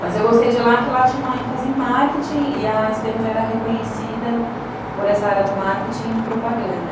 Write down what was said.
Mas eu gostei de lá, que lá tinha uma ênfase em marketing e a esse pê eme já era reconhecida por essa área do marketing e propaganda.